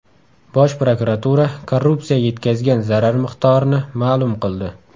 Bosh prokuratura korrupsiya yetkazgan zarar miqdorini ma’lum qildi.